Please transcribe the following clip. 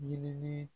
Ɲinili